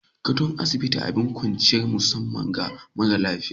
Gadon asibiti abin kwanciyar musamman ga marasa lafiya.